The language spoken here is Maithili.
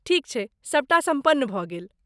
ठीक छै। सभटा सम्पन्न भऽ गेल।